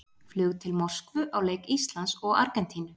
Flug til Moskvu á leik Íslands og Argentínu.